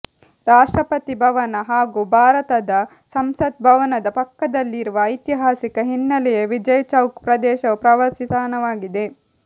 ರಾಷ್ಟ್ರಪತಿ ಭವನ ಹಾಗೂ ಭಾರತದ ಸಂಸತ್ ಭವನದ ಪಕ್ಕದಲ್ಲಿರುವ ಐತಿಹಾಸಿಕ ಹಿನ್ನೆಲೆಯ ವಿಜಯ್ ಚೌಕ್ ಪ್ರದೇಶವು ಪ್ರವಾಸಿ ತಾಣವಾಗಿದೆ